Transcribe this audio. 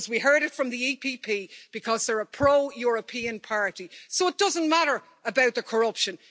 We heard it from the EPP it's because they are a pro European party. So it doesn't matter about the corruption.